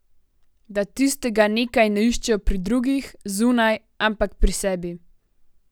Da tistega nekaj ne iščejo pri drugih, zunaj, ampak pri sebi.